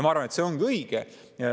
Ma arvan, et see ongi õige.